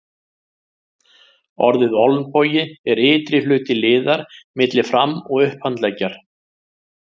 Orðið olnbogi er ytri hluti liðar milli fram- og upphandleggjar.